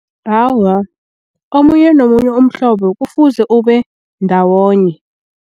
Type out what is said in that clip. Awa, omunye nomunye umhlobo kufuze ube ndawonye.